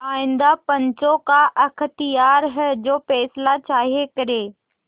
आइंदा पंचों का अख्तियार है जो फैसला चाहें करें